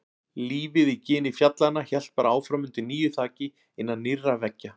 Lífið í gini fjallanna hélt bara áfram undir nýju þaki, innan nýrra veggja.